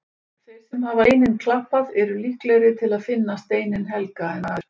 Þeir sem hafa lengi steininn klappað eru líklegri til að finna steininn helga en aðrir.